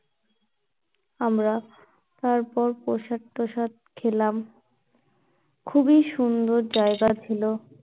আমরা, তারপর প্রসাদ টসাদ খেলাম খুবই সুন্দর জায়গা ছিলো